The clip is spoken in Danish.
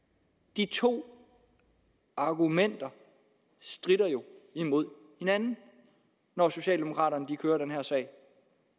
de to argumenter stritter jo imod hinanden når socialdemokraterne kører den her sag